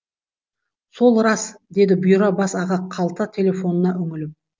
сол рас деді бұйра бас аға қалта телефонына үңіліп